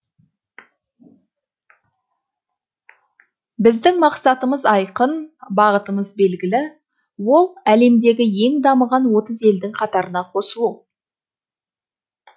біздің мақсатымыз айқын бағытымыз белгілі ол әлемдегі ең дамыған отыз елдің қатарына қосылу